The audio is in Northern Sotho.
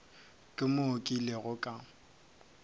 ke moo ke ilego ka